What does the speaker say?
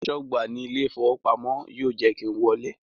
Aṣọ́gbà ní ilé ìfowópamọ́ yóò jẹ́ kí n wọlé